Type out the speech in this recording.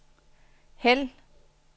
hæld